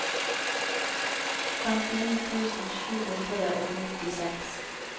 femtini tusen sju hundre og nittiseks